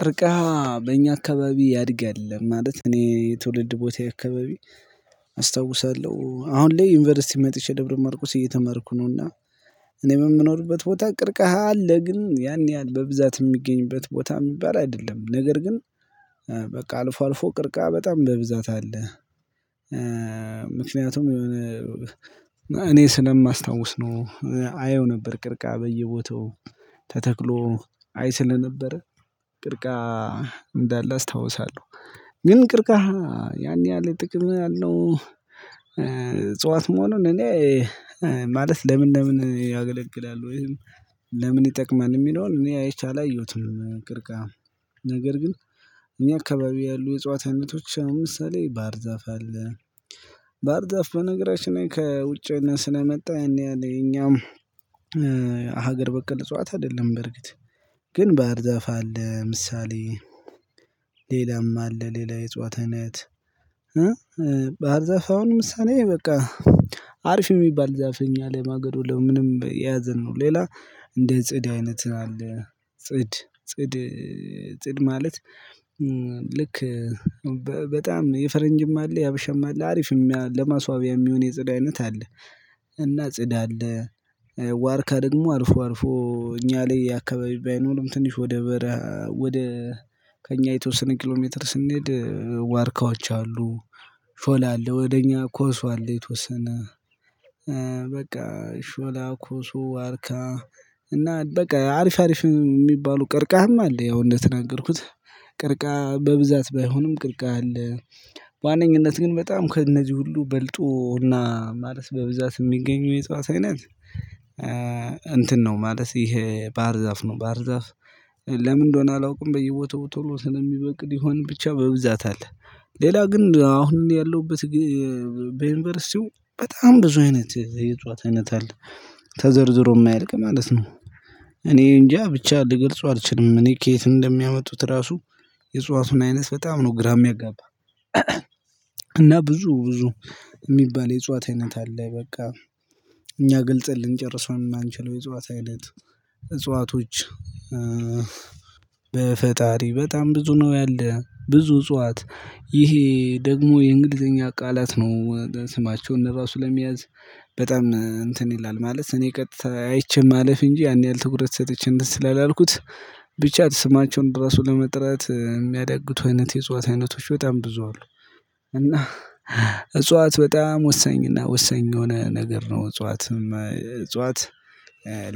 ቅርቀሃ በእኛ አካባቢ ያድጋል ማለት እኔ የትውልድ ቦታዬ አካባቢ አስታውሳለሁ። አሁን ላይ ዩኒቨርሲቲ መጥቼ ደብረ ማርቆስ እየተማርኩ ነው። እና። እኔ በምኖርበት ቦታ ቅርቀሃ አለ ግን ያን ያህል በብዛት የሚገኝበት ቦታ የሚባል አይደለም። ነገር ግን በቃ አልፎ አልፎ ቅርቀሃ በጣም በብዛት አለ። ምክንያቱም የሆነ እኔ ስለማስታውስ ነው። አየው ነበር ቅርቀሃ በየቦታው ተተክሎ አይ ስለነበረ ቅርቀሃ እንዳለ አስታውሳለሁ። ግን ቅርቀሃ ያን ያህል ጥቅም ያለው። እጽዋት መሆኑን እኔ ማለት ለምን ለምን ያገለግላሉ ወይም ለምን ይጠቅማል የሚለውን እኔ አይቼ አላየሁትም። ቅርቀሃ ነገር ግን እኛ አካባቢ ያሉ የእጽዋት አይነቶች አሁን ምሳሌ ባህር ዛፍ አለ። ባህር ዛፍ በነገራችን ላይ ከውጭ እና ስለመጣ ያን ያህል እኛም ሀገር በቀል እጽዋት አይደለም። በርግጥ ግን ባህር ዘፋ አለ ምሳሌ። ሌላም አለ ሌላ የእጽዋት አይነት። ባህር ዛፋ አሁን ምሳሌ በቃ አሪፍ የሚባል ዛፍ እኛ ለማገዶ ለምንም የያዘን ነው። ሌላ እንደ ጽድ አይነት አለ። ጽድ ጽድ ጽድ ማለት ልክ በጣም የፈረንጅም አለ የሀበሻም አለ አሪፍም ለማስዋቢያ የሚሆን የጽድ አይነት አለ። እና ጽድ አለ። ዋርካ ደግሞ አልፎ አልፎ እኛ ላይ የአካባቢ ባይኖርም ትንሽ ወደ በረሃ ወደ ከእኛ የተወሰነ ኪሎ ሜትር ስንሄድ ዋርካዎች አሉ። ሾላ አለ ወደ እኛ ኮስ አለ የተወሰነ በቃ ሾላ ኮሶ ዋርካ። እና በቃ አሪፍ አሪፍ የሚባሉ ቀርቀሃም አለ። ያው እንደተናገርኩት ቅርቀሃ በብዛት ባይሆንም ቅርቀሃ አለ። በዋነኝነት ግን በጣም ከእነዚህ ሁሉ በልጦ እና ማለት በብዛት የሚገኘው የእጽዋት አይነት እንትን ነው ማለት ይሄ ባህር ዛፍ ነው። ባህር ዛፍ ለምን እንደሆነ አላውቅም በየቦታው ቶሎ ስለሚበቅል ይሆን ብቻ በብዛት አለ። ሌላ ግን አሁን ያለሁበት በዩኒቨርሲቲው በጣም ብዙ አይነት የእጽዋት አይነት አለ ተዘርዝሮ የማይልቅ ማለት ነው። እኔ እንጃ ብቻ ልገልጸው አልችልም። እኔ ከየት እንደሚያመጡት ራሱ የእጽዋቱን አይነት በጣም ነው ግራ የሚያጋባ። እና ብዙ ብዙ የሚባል የእጽዋት አይነት አለ። በቃ እኛ ግልጸን ልንጨርሰው የማንችለው የእጽዋት አይነት እጽዋቶች። በፈጣሪ በጣም ብዙ ነው ያለ ብዙ እጽዋት ይሄ ደግሞ የእንግሊዘኛ ቃላት ነው። ስማቸውን ራሱ ለመያዝ በጣም እንትን ይላል ማለት እኔ ቀጥታ አይቼ ማለፍ እንጂ ያን ያህል ትኩረት ሰጠቼ እንትን ስላላልኩት ብቻ ስማቸውን ድረስ ለመጥራት የሚያዳግቱ አይነት የእጽዋት አይነቶች በጣም ብዙ አሉ። እና እጽዋት በጣም ወሰኝ እና ወሰኝ የሆነ ነገር ነው እጽዋትም እጽዋት።